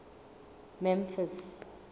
memphis